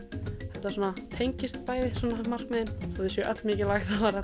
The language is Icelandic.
þetta svona tengist bæði sem sagt markmiðin þótt þau séu öll mikilvæg